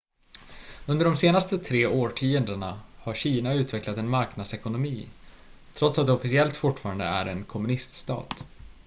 under de senaste tre årtiondena har kina utvecklat en marknadsekonomi trots att det officiellt fortfarande är en kommuniststat